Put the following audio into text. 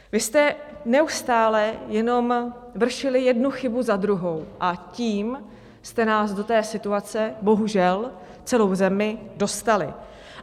Vy jste neustále jenom vršili jednu chybu za druhou a tím jste nás do té situace, bohužel, celou zemi dostali.